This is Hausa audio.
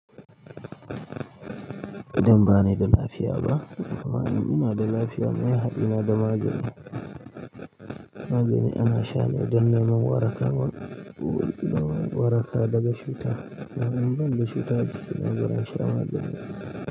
Don ba ni da lafiya ba? Amma ina da lafiya. Me haɗi na da magani magani ana sha ne don neman waraka, don waraka daga cuta. Ka gan ban da cuta a jikina, balle in sha magani.